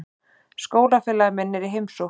Skólafélagi minn er í heimsókn.